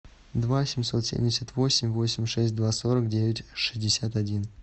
два семьсот семьдесят восемь восемь шесть два сорок девять шестьдесят один